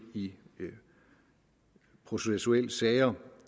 i processuelle sager